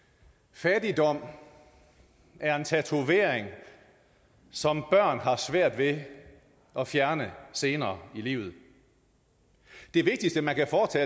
fattigdom er en tatovering som børn har svært ved at fjerne senere i livet det vigtigste man kan foretage